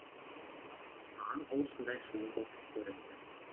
маған ол сондай сұлу боп көрінді